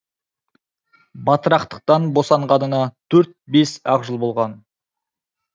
батырақтықтан босанғанына төрт бес ақ жыл болған